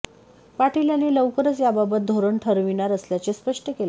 पाटील यांनी लवकरच याबाबत धोरण ठरविणार असल्याचे स्पष्ट केले